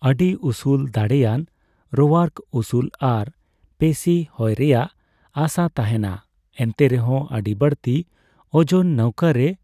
ᱟᱹᱰᱤ ᱩᱥᱩᱞᱼᱫᱟᱲᱮᱭᱟᱱ ᱨᱳᱣᱟᱨᱠᱚ ᱩᱥᱩᱞ ᱟᱨ ᱯᱮᱥᱤ ᱦᱳᱭᱨᱮᱭᱟᱜ ᱟᱥᱟ ᱛᱟᱦᱮᱸᱱᱟ, ᱮᱱᱛᱮ ᱨᱮᱦᱚᱸ ᱟᱹᱰᱤ ᱵᱟᱹᱲᱛᱤ ᱳᱡᱚᱱ ᱱᱟᱹᱣᱠᱟᱹ ᱨᱮ